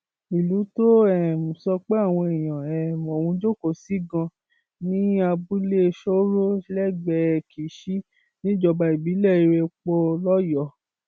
ìlú tó um sọ pé àwọn èèyàn um ọhún jókòó sí ganan ní abúlé sooro lẹgbẹẹ kíṣì níjọba ìbílẹ irẹpọ lọyọọ